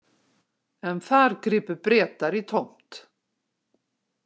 En þar gripu Bretar í tómt.